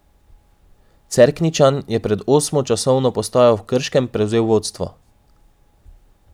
Cerkničan je pred osmo časovno postajo v Krškem prevzel vodstvo.